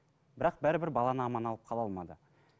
бірақ бәрібір баланы аман алып қала алмады